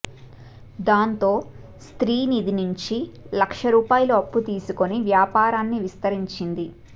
దాంతో స్ర్తీ నిధి నుంచి లక్ష రూపాయలు అప్పు తీసుకొని వ్యాపారాన్ని విస్తరించింది